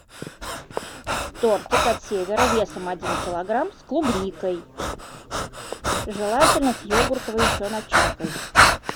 тортик от севера весом один килограмм с клубникой желательно с йогуртовой еще начинкой